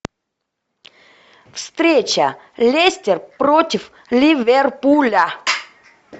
встреча лестер против ливерпуля